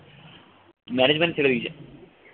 management ছেড়ে দিছে